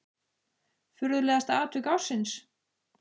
Furðulegasta atvik ársins?